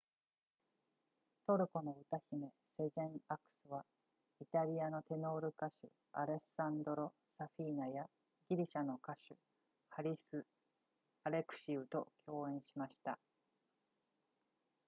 トルコの歌姫セゼンアクスはイタリアのテノール歌手アレッサンドロサフィーナやギリシャの歌手ハリスアレクシウと共演しました